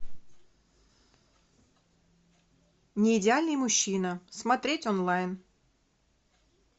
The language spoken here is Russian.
не идеальный мужчина смотреть онлайн